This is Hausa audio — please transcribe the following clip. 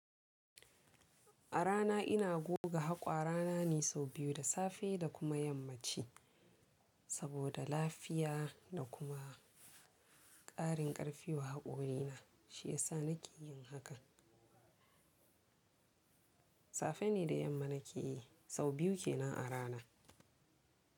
A rana ina goga haƙwara na ne sau biyu, da safe da kuma yammaci, saboda lafiya da kuma ƙarin ƙarfi wa haƙori na, shi yasa nake yin hakan. Safe ne da yamma nake yi, sau biyu ke nan a rana.